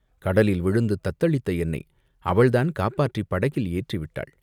கடலில் விழுந்து தத்தளித்த என்னை அவள்தான் காப்பாற்றிப் படகில் ஏற்றி விட்டாள்.